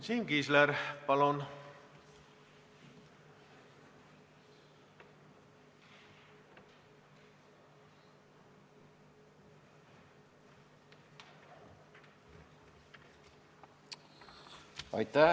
Siim Kiisler, palun!